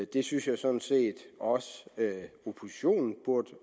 det synes jeg sådan set også at oppositionen burde